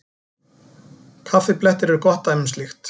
Kaffiblettir eru gott dæmi um slíkt.